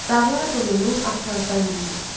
Dağlar donunu atlazdan geyir.